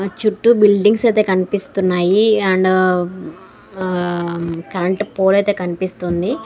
మన చుట్టూ బిల్డింగ్స్ అయితే కనిపిస్తున్నాయి అండ్ కరెంట్ పోల్ అయితే కనిపిస్తుంది.